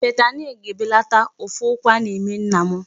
Fentanyl ga-ebelata ụfụ ụkwụ a na-eme nna m.